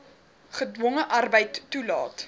gedwonge arbeid toelaat